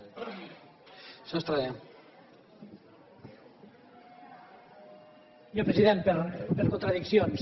senyor president per contradiccions